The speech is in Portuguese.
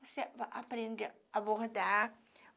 Você aprende a abordar.